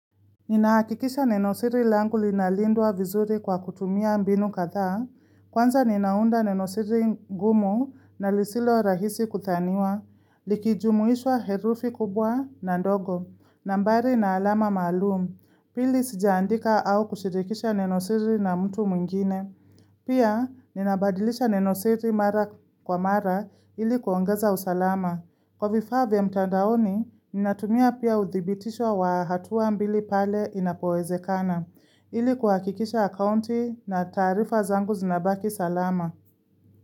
Ninahakikisha neno siri langu linalindwa vizuri kwa kutumia mbinu kadha, Kwanza ninaunda nenosiri gumu na lisilo rahisi kuthaniwa, likijumuisha herufi kubwa na ndogo, nambari na alama maalum. Pili sijaandika au kushirikisha nenosiri na mtu mwingine. Pia, ninabadilisha nenosiri mara kwa mara ili kuongeza usalama. Kwa vifaa vya mtandaoni, ninatumia pia uthibitisho wa hatua mbili pale inapowezekana ili kuhakikisha akaunti na taarifa zangu zinabaki salama.